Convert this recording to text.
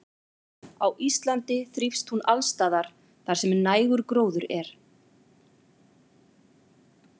Á Íslandi þrífst hún alls staðar þar sem nægur gróður er.